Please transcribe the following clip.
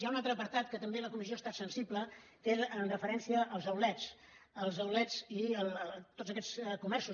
hi ha un altre apartat en què també la comissió ha estat sensible que és amb referència als outlets els lets i tots aquests comerços